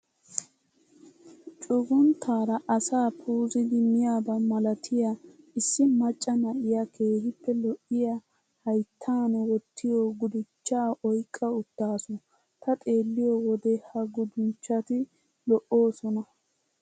Cugunttaara asaa puuzidi miyaaba malatiyaa issu macca na"iyaa keehippe lo"iyaa hayittan wottiyoo guduchchaa oyiqqa uttaasu. Ta xewliyoo wode ha guduchchati lo"oosona.